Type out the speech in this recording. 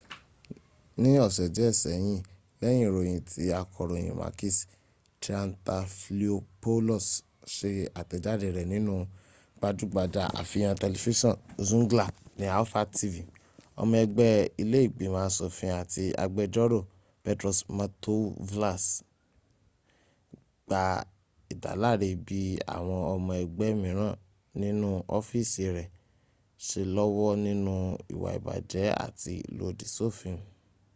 ní ọ̀sẹ̀ díè sẹ́yìn lẹyìn ìròyìn tí akọròyìn makis triantafylopoulos sẹ àtèjádẹ rẹ nínú gbajúgbajà àfihàn tẹlifísàn zoungla ní alpha tv ọmọ ẹgbé ilẹ́ ìgbimọ̀ asòfin àti agbẹjórò petros mantouvalos gba ìdáláre bi àwọn ọmọ ẹgbẹ́ míràn nínú ofiisi rẹ se lọ́wọ́ nínú ìwà ìbàjẹ́ àti ìlòdì sófin